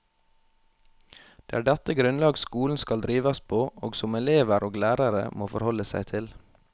Det er dette grunnlag skolen skal drives på, og som elever og lærere må forholde seg til.